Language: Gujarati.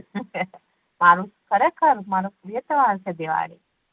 મારો ખરેખર મારો પ્રિય તેહવાર છે દિવાળી